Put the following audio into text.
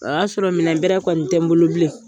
O y'a sɔrɔ minɛn bɛrɛ kɔni tɛ n bolo bilen.